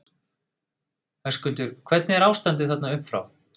Höskuldur: Hvernig er ástandið þarna upp frá?